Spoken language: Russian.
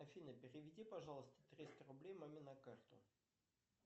афина переведи пожалуйста триста рублей маме на карту